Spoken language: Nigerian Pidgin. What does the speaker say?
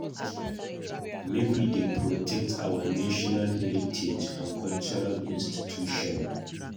Make we dey protect our national heritage and cultural institution